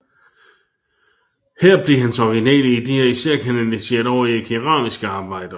Her blev hans originale ideer især kanaliseret over i keramiske arbejder